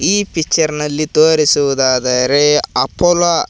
ಈ ಪಿಕ್ಚರ್ ನಲ್ಲಿ ತೋರಿಸುವುದಾದರೆ ಅಪೋಲೋ --